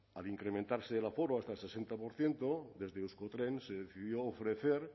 al incrementarse el aforo hasta el sesenta por ciento desde euskotren se decidió ofrecer